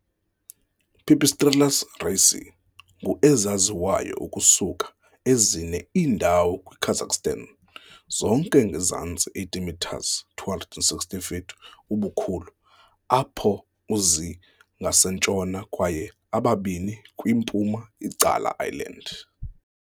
"Pipistrellus raceyi" ngu ezaziwayo ukusuka ezine iindawo kwiKazakhstan, zonke ngezantsi 80 metres, 260 feet, ubukhulu, apho u-zi ngasentshona kwaye ababini kwi-mpuma icala island.